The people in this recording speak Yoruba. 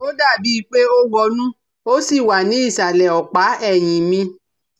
Ó dàbí i pé ó wọnú ó sì wà ní ìsàlẹ̀ ọ̀pá ẹ̀yìn mi